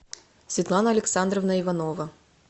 светлана александровна иванова